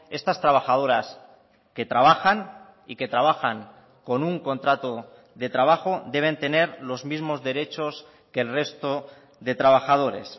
estas trabajadoras que trabajan y que trabajan con un contrato de trabajo deben tener los mismos derechos que el resto de trabajadores